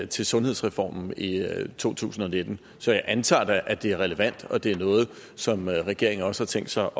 til sundhedsreformen i to tusind og nitten så jeg antager da at det er relevant og at det er noget som regeringen også har tænkt sig